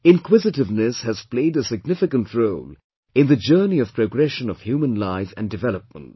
Inquisitiveness has played a significant role in the journey of progression of human life and development